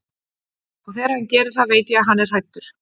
Og þegar hann gerir það veit ég að hann er hræddur.